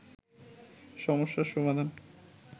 সমস্যার সমাধান